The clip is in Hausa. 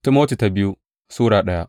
biyu Timoti Sura daya